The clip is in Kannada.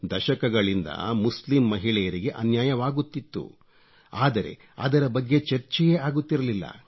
ದಶಕಗಳಿಂದ ಮುಸ್ಲಿಂ ಮಹಿಳೆಯರಿಗೆ ಅನ್ಯಾಯವಾಗುತ್ತಿತ್ತು ಆದರೆ ಅದರ ಬಗ್ಗೆ ಚರ್ಚೆಯೇ ಆಗುತ್ತಿರಲಿಲ್ಲ